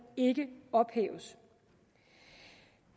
ikke ophæves